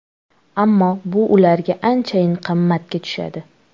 Ammo bu ularga anchayin qimmatga tushadi.